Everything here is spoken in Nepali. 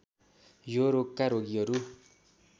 यो रोगका रोगीहरू